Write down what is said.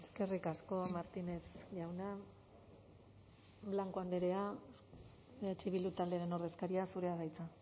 eskerrik asko martínez jauna blanco andrea eh bildu taldearen ordezkaria zurea da hitza